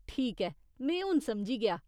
ठीक ऐ, में हून समझी गेआ।